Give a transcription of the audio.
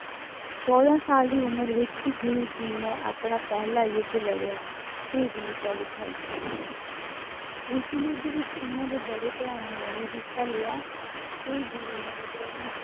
ਚੌਦਾਂ ਸਾਲ ਦੀ ਉਮਰ ਵਿੱਚ ਗੁਰੂ ਜੀ ਨੇ ਆਪਣਾ ਪਹਿਲਾਂ ਯੁੱਧ ਲੜਿਆ, ਤੇ ਵੀਰਤਾ ਦਿਖਾਈ ਉਸ ਯੁੱਧ ਵਿੱਚ ਉਹਨਾਂ ਦੇ ਬੜੇ ਭਰਾਵਾਂ ਨੇ ਵੀ ਹਿੱਸਾ ਲਿਆ ਤੇ ਗੁਰੂ ਹਰਿਗੋਬਿੰਦ